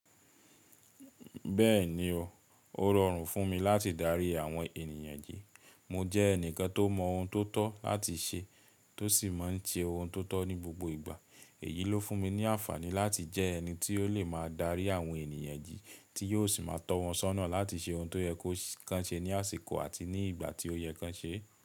Bẹ́ẹ̀ni o, ó rọrùn fún mi láti darí àwọn ènìyàn jí. Mo jẹ́ ẹnìkan tó mọ ohun tó tọ́ láti ṣe, tó sì má ń ṣe ohun tó tọ́ ní gbogbo ìgbà. Èyí ló fún mi ní àǹfààní láti jẹ́ ẹni tí ó lè máa darí àwọn ènìyàn jí, tí yóò sì má a tọ́ wọn sọ́nà láti ṣe ohun tó yẹ kan ṣe ní àsìkò àti ní ìgbà tí ó yẹ kó ṣe é.